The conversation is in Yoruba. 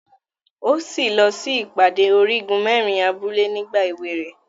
O si lọ sí ìpàdé Origun merin abúlé nígbà ewé rẹ.